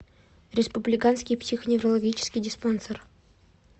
республиканский психоневрологический диспансер